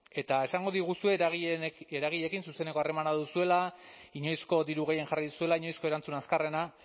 eta esango diguzue eragileekin zuzeneko harremana duzuela inoizko diru gehien jarri duzuela inoizko erantzun azkarrena